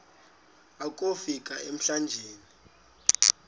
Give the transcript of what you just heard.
akofi ka emlanjeni